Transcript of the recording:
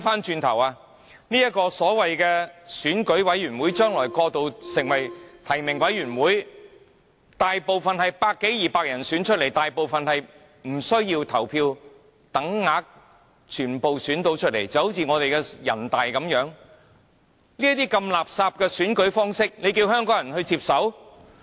這個選舉委員會將來會過渡成為提名委員會，當中大部分委員是由百多二百人選出來，他們大部分獲等額票數當選，正如人大一樣，如此垃圾的選舉方式，香港人怎能接受？